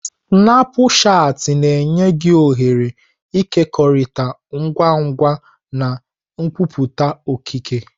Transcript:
Snapushati na-enye gị ohere ịkekọrịta ngwa ngwa na nkwupụta okike.